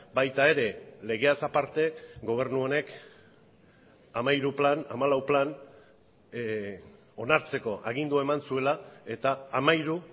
baita ere legeaz aparte gobernu honek hamairu plan hamalau plan onartzeko agindua eman zuela eta hamairu